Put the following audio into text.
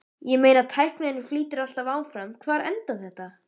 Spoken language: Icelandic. Ég meina tækninni flýtur alltaf áfram, hvar endar þetta?